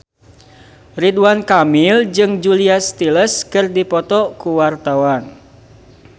Ridwan Kamil jeung Julia Stiles keur dipoto ku wartawan